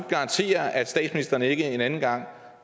garantere at statsministeren ikke en anden gang